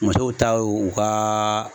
Musow ta y'o u ka